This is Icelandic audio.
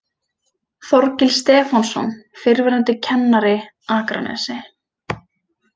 Þorgils Stefánsson, fyrrverandi kennari, Akranesi